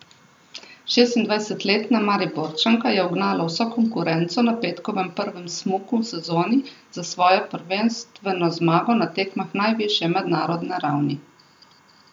Šestindvajsetletna Mariborčanka je ugnala vso konkurenco na petkovem prvem smuku v sezoni za svojo prvenstveno zmago na tekmah najvišje mednarodne ravni.